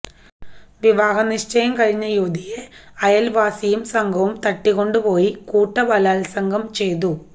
വിവാഹ നിശ്ചയം കഴിഞ്ഞ യുവതിയെ അയല്വാസിയും സംഘവും തട്ടിക്കൊണ്ടുപോയി കൂട്ടബലാത്സംഗം ചെയ്തു